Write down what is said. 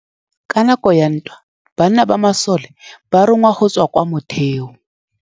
Ka nakô ya dintwa banna ba masole ba rongwa go tswa kwa mothêô.